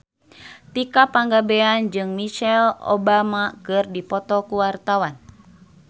Tika Pangabean jeung Michelle Obama keur dipoto ku wartawan